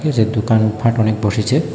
যে দুকান পাট অনেক বসেচে।